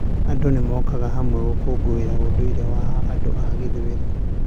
Andũ nĩ mokaga hamwe gũkũũngũĩra ũndũire wa andũ a gĩthweri.